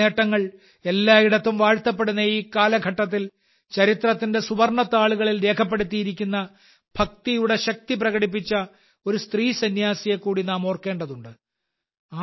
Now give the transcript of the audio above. അവളുടെ നേട്ടങ്ങൾ എല്ലായിടത്തും വാഴ്ത്തപ്പെടുന്ന ഈ കാലഘട്ടത്തിൽ ചരിത്രത്തിന്റെ സുവർണ്ണ താളുകളിൽ രേഖപ്പെടുത്തിയിരിക്കുന്ന ഭക്തിയുടെ ശക്തി പ്രകടിപ്പിച്ച ഒരു സ്ത്രീസന്യാസിയെ കൂടി നാം ഓർക്കേണ്ടതുണ്ട്